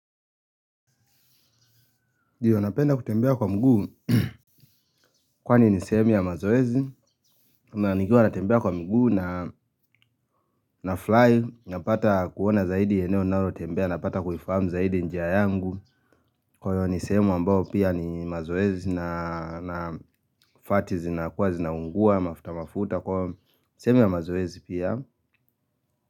Ndiyo napenda kutembea kwa mguu. Kwani ni sehemu ya mazoezi. Na nikiwa natembea kwa mguu na furahi. Napata kuona zaidi eneo ninalo tembea. Napata kuifahamu zaidi njia yangu. Kwahiyo ni sehemu ambayo pia ni mazoezi na na fati zinakua zinaungua mafuta mafuta. Kwaiyo sehemu ya mazoezi pia.